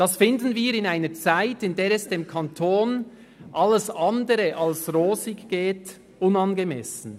Dies finden wir in einer Zeit, in der es dem Kanton alles andere als rosig geht, unangemessen.